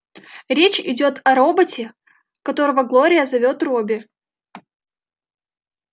речь идёт о роботе которого глория зовёт робби